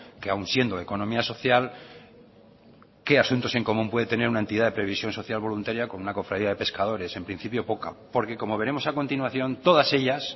que aun siendo economía social qué asuntos en común puede tener una entidad de previsión social voluntaria con una cofradía de pescadores en principio poca porque como veremos a continuación todas ellas